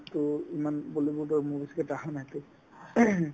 to ইমান বলীউডৰ movies কেইটা আহা নাই to ing